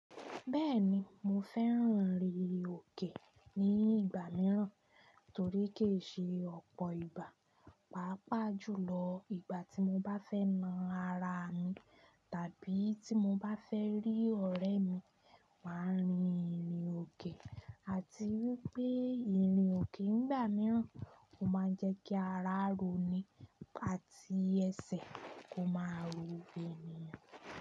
Bẹ́ẹ̀ni mo fẹ́ràn ìrìn òkè ní ìgbà mìíràn torí kì í ṣe ọ̀pọ̀ ìgbà. Pápá jùlọ ìgbà tí mo bá fẹ́ na ara mi tàbí tí mo bá fẹ́ rí ọ̀rẹ́ mi, màá rìn ìrìn òkè àti wípé ìrìn òkè nígbà mìíràn o máa n jẹ́ kí ara ro ni àti ẹsẹ̀ kó máa ro eniyan.